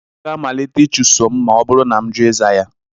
Ọ ga-amalite ịchụso m ma ọ bụrụ na m njụ ịza ya